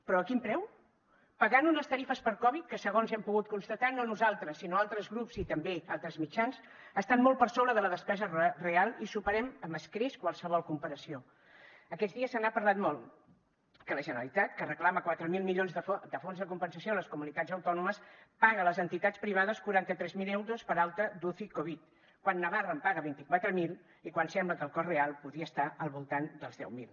però a quin preu pagant unes tarifes per covid que segons hem pogut constatar no nosaltres sinó altres grups i també altres mitjans estan molt per sobre de la despesa real i superem amb escreix qualsevol comparació aquests dies se n’ha parlat molt que la generalitat que reclama quatre mil milions de fons de compensació a les comunitats autònomes paga a les entitats privades quaranta tres mil euros per alta d’uci covid quan navarra en paga vint quatre mil i quan sembla que el cost real podria estar al voltant dels deu mil